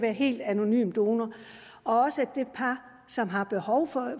en helt anonym donor og også et det par som har behov for